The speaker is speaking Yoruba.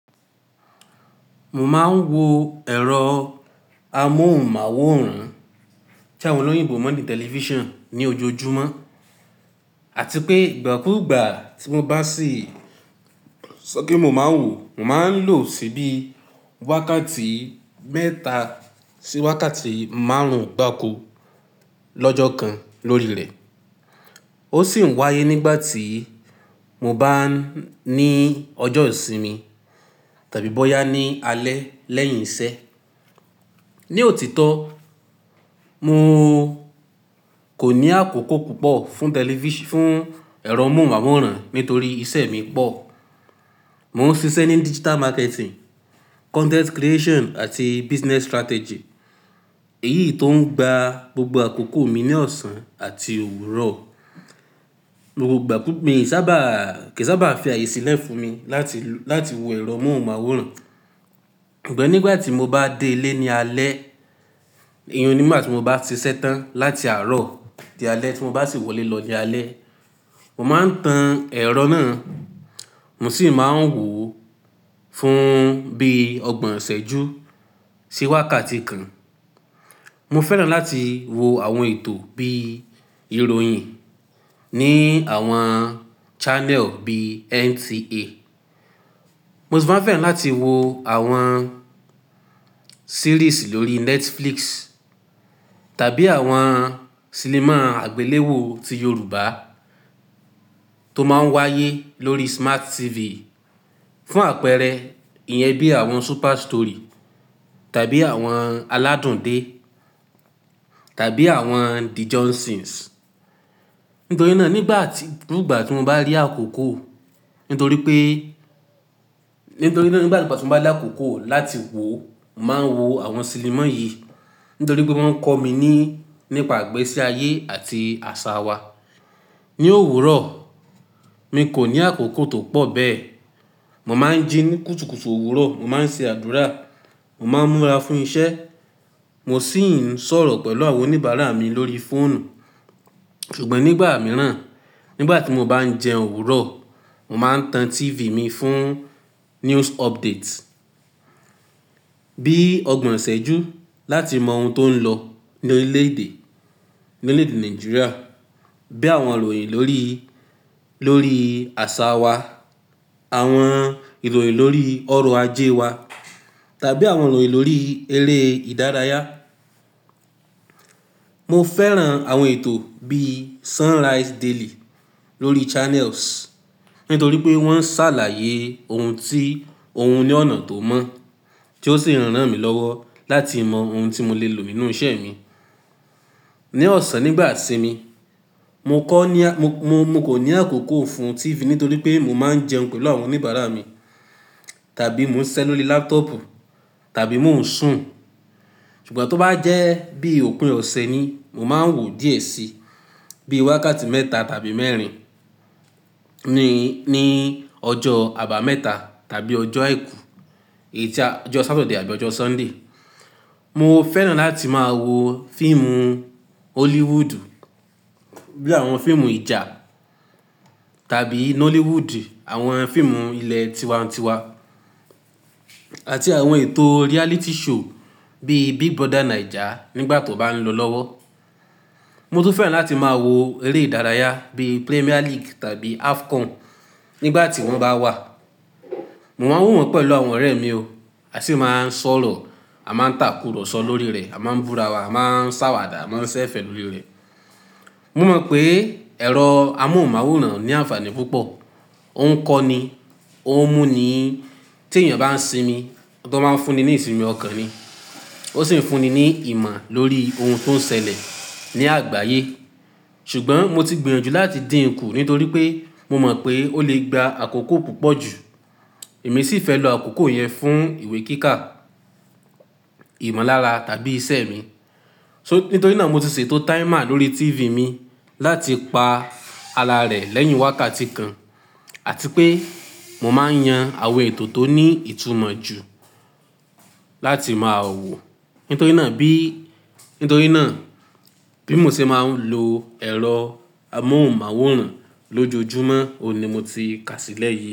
Mo máa ń wo ẹ̀rọ amóhùnmáwòrán tí àwọn olóyinbó mọ̀ ní tẹlifísàn ní ojoojúmọ́ àti pé ìgbà kúùgbà tí mo bá sì sọ pé mo máa ń wò ó, mo máa ń lò ó síbi wákàtí mẹ́ta sí wákàtí márùn-ún gbáko lọ́jọ́ kan lórí rẹ̀. Ó sì ń wáyé nígbà tí mo bá ní ọjọ́ ìsinmi tàbí bóyá ní alẹ́ lẹ́yìn iṣẹ́. Ni òtítọ́, mo kò ní àkókò púpọ̀ fún tẹlifís-- fún ẹ̀rọ amóhùnmáwòrán nítorí iṣẹ́ mi pọ̀. Mo ń ṣiṣẹ́ ní digital marketing, content creation àti business strategy. Èyí tó ń gba gbogbo àkókò mi ní ọ̀sán àti òwúrọ̀. Mo gbà kí n sábà, kì í sábà fi àyè sílẹ̀ fún mi láti, láti wo ẹ̀rọ amóhùnmáwòrán. Ṣùgbọ́n nígbà tí mo bá dé ilé ní alẹ́, iyun ní ìgbà tí mo bá ti ṣetán láti àárọ̀ di alẹ́ tí mo bá sì wọlé lọ ní alẹ́, mo máa ń tan ẹ̀rọ náà, mo sì máa ń wò ó fún bí ọgbọ̀n isẹ́jú sí wákàtí kan. Mo fẹ́ràn láti wo àwọn ètò bí ìròyìn ní àwọn channel bí NTA. Mo sì máa ń fẹ́ràn láti wo àwọn series lórí Netflix tàbí àwọn sinimá àgbéléwò ti Yorùbá tó máa ń wáyé lórí Smart TV. Fún àpẹẹrẹ, ìyẹn bí àwọn Super Story tàbí àwọn Aládùn dé tàbí àwọn The Johnsons. Nítorí náà nígbà tí, kugba tí mo bá rí àkókò, nítorí pé, nítorí náà nígbà tí mo bá rí àkókò láti wò ó, màá wo àwọn sinimá yìí. Nítorí pé wọ́n ń kọ́ mi ní, nípa ìgbésí ayé àti àṣà wa. Ni òwúrọ̀, mi kò ní àkókò tó pọ̀ bẹ́ẹ̀. Mo máa ń jí ní kùtùkùtù òwúrọ̀, mo máa ń ṣe àdúrà, mo máa ń múra fún iṣẹ́, mo sì ń sọ̀rọ̀ pẹ̀lú àwọn oníbàárà mi lórí fóònù. Ṣùgbọ́n nígbà mìíràn, nígbà tí mo bá ń jẹun òwúrọ̀, mo màá n tan TV mi fún news updates. Bí ọgbọ̀n isẹ́jú láti mọ ohun tó ń lọ ní orílẹ̀-èdè, ní orílẹ̀-èdè Nàìjíríà, bí àwọn ìròyìn lórí, lórí àṣà wa, àwọn ìròyìn lórí ọrọ̀ ajé wa tàbí àwọn ìròyìn lórí eré ìdárayá. Mo fẹ́ràn àwọn ètò bí Sunrise Daily lórí Channels nítorí pé wọ́n ń ṣàlàyé ohun tí, ohun ní ọ̀nà tó mọ́ tí ó sì ń rán mi lọ́wọ́ láti mọ ohun tí mo lè lò nínú iṣẹ́ mi. Ni ọ̀sán nígbà ìsinmi, mo kọ́ ní a-- mo, mo kò ní àkókò fún TV nítorí pé mo máa ń jẹun pẹ̀lú àwọn oníbàárà mi tàbí mò ń siṣẹ́ lórí laptop tàbí mò ń sùn. Ṣùgbọ́n tó bá jẹ́ bí òpin ọ̀se ni, mo máa ń wò ó díẹ̀ sí, bí wákàtí mẹ́ta tàbí mẹ́rin ní, ní ọjọ́ àbámẹ́ta tàbí ọjọ́ àìkú, ọjọ́ Saturday àbí ọjọ́ Sunday. Mo fẹ́ràn láti máa wo fíìmù Hollywood bí àwọn fíìmù ìjà tàbí Nollywood, àwọn fíìmù ilẹ̀ tiwa-n-tiwa àti àwọn ètò reality show bí Big Brother Naija nígbà tó bá ń lọ lọ́wọ́. Mo tún fẹ́ràn láti máa wo eré ìdárayá bí Premier League tàbí AFCON nígbà tí wọ́n bá wà. Mo máa ń wò wọ́n pẹ̀lú àwọn ọ̀rẹ́ mi o, a sì máa ń sọ̀rọ̀, a máa ń tàkùrọ̀sọ lórí rẹ̀, a máa ń búra wa, a máa ń ṣàwàdà, a máa ń ṣẹ́ fẹ́ lórí rẹ̀. Mo mọ̀ pé ẹ̀rọ amóhùnmáwòrán ní àǹfààní púpọ̀, ó ń kọ́ ni, ó ń mú ni, tí èèyàn bá ń sinmi, ó tọ́ máa ń fún ni ní ìsinmi ọ̀kan ni, ó sì ń fún ni ní ìmọ̀ lórí ohun tó ń ṣẹlẹ̀ ní àgbáyé. Ṣùgbọ́n mo ti gbìyànjú láti dín kù nítorí pé mo mọ̀ pé ó lè gba àkókò púpọ̀ jù. Èmi sì fẹ́ lo àkókò yẹn fún ìwé kíkà, ìmọ̀lára tàbí iṣẹ́ mi. So-- nítorí náà mo ti ṣètò timer lórí TV mi láti pa ara rẹ̀ lẹ́yìn wákàtí kan àti pé mo máa ń yan àwọn ètò tó ní ìtumọ̀ jù láti máa wò. Nítorí náà bí, nítorí náà bí mo ṣe máa ń lo ẹ̀rọ amóhùnmáwòrán lójoojúmọ́, òun ni mo ti kà sílẹ̀ yìí.